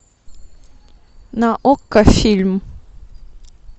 на окко фильм